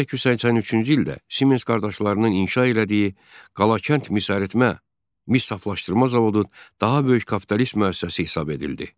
1883-cü ildə Siemens qardaşlarının inşa elədiyi Qalakənd misəritmə, mis saflaşdırma zavodu daha böyük kapitalist müəssisəsi hesab edildi.